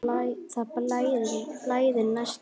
Það blæðir næsta lítið.